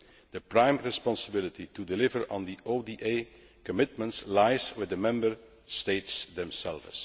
The prime responsibility for delivering on the ODA commitments lies with the Member States themselves.